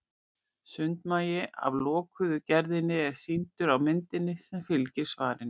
sundmagi af lokuðu gerðinni er sýndur á myndinni sem fylgir svarinu